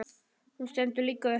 Hún stendur líka upp.